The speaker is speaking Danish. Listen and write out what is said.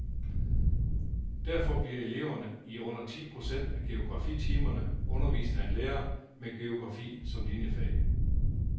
Derfor bliver eleverne i under ti procent af geografitimerne undervist af en lærer med geografi som liniefag.